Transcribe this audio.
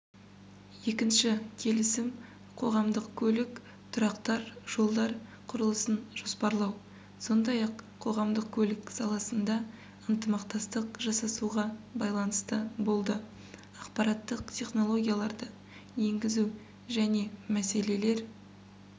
екінші келісім қоғамдық көлік тұрақтар жолдар құрылысын жоспарлау сондай-ақ қоғамдық көлік саласында ынтымақтастық жасасуға байланысты болды ақпараттық технологияларды енгізу және мәселелер